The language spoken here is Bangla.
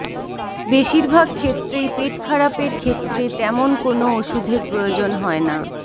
বেশিরভাগ ক্ষেত্রেই পেটখারাপের ক্ষেত্রে তেমন কোনও ওষুধের প্রয়োজন হয় না